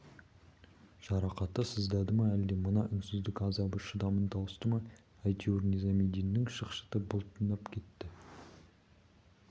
жарақаты сыздады ма әлде мына үнсіздік азабы шыдамын тауысты ма әйтеуір низамеддиннің шықшыты бұлтылдап кетті